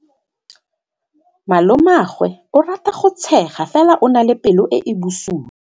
Malomagwe o rata go tshega fela o na le pelo e e bosula.